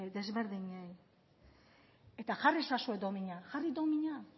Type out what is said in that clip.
desberdinei eta jarri ezazue domina jarri domina